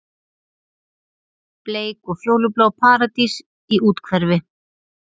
Bleik og fjólublá paradís í úthverfi